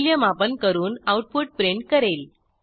मूल्यमापन करून output print करेल